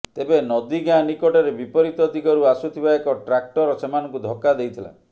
ତେବେ ନଦୀଗାଁ ନିକଟରେ ବିପରୀତ ଦିଗରୁ ଆସୁଥିବା ଏକ ଟ୍ରାକ୍ଟର ସେମାନଙ୍କୁ ଧକ୍କା ଦେଇଥିଲା